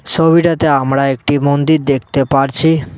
ছবিটাতে আমরা একটি মন্দির দেখতে পারছি।